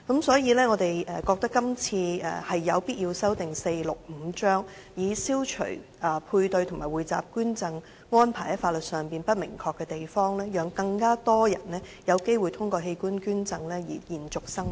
所以，我們覺得有必要修訂第465章，以消除配對和匯集捐贈安排在法律上不明確的地方，讓更多人有機會透過器官捐贈延續生命。